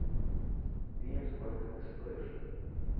фильм сколько ты стоишь